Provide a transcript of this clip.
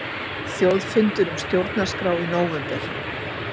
Þjóðfundur um stjórnarskrá í nóvember